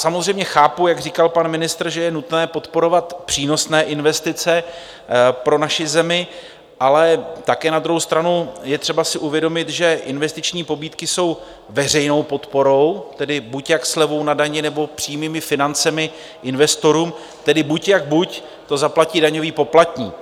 Samozřejmě chápu, jak říkal pan ministr, že je nutné podporovat přínosné investice pro naši zemi, ale také na druhou stranu je třeba si uvědomit, že investiční pobídky jsou veřejnou podporou, tedy buď jak slevou na dani, nebo přímými financemi investorům, tedy buď jak buď to zaplatí daňový poplatník.